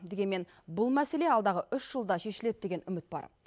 дегенмен бұл мәселе алдағы үш жылда шешіледі деген үміт бар